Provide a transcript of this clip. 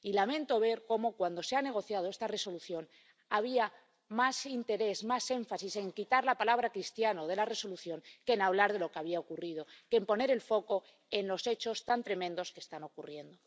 Y lamento ver cómo, cuando se ha negociado esta Resolución, había más interés, más énfasis, en quitar la palabra cristiano de la Resolución que en hablar de lo que había ocurrido, que en poner el foco en los hechos tan tremendos que están ocurriendo.